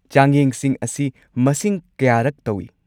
ꯆꯥꯡꯌꯦꯡꯁꯤꯡ ꯑꯁꯤ ꯃꯁꯤꯡ ꯀꯌꯥꯔꯛ ꯇꯧꯋꯤ?